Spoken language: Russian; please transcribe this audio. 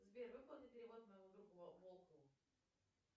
сбер выполни перевод моему другу волкову